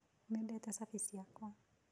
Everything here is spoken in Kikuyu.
Nĩndate cabĩ cĩakwa.